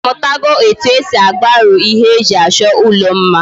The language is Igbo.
Imutala etu esi agbaro ihe eji acho ulo mma?